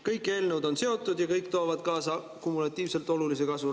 Kõik eelnõud on omavahel seotud ja kõik toovad kaasa kumulatiivselt olulise kasvu.